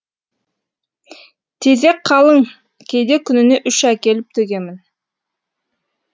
тезек қалың кейде күніне үш әкеліп төгемін